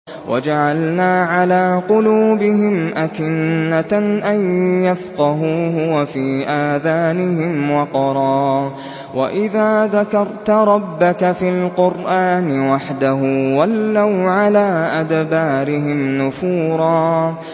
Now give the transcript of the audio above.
وَجَعَلْنَا عَلَىٰ قُلُوبِهِمْ أَكِنَّةً أَن يَفْقَهُوهُ وَفِي آذَانِهِمْ وَقْرًا ۚ وَإِذَا ذَكَرْتَ رَبَّكَ فِي الْقُرْآنِ وَحْدَهُ وَلَّوْا عَلَىٰ أَدْبَارِهِمْ نُفُورًا